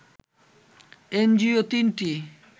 NGO ৩টি